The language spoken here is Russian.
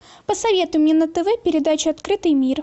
посоветуй мне на тв передачу открытый мир